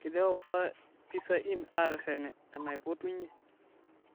keidipa sa pissa inn aatereten enaipotunyie